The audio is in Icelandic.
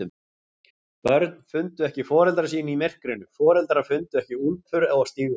Börn fundu ekki foreldra sína í myrkrinu, foreldrar fundu ekki úlpur og stígvél.